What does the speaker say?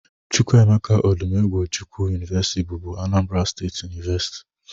Chukwuemeka Odumegwu Ojukwu University bụbu Anambra State University